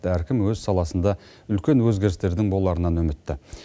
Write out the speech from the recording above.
әркім өз саласында үлкен өзгерістердің боларынан үмітті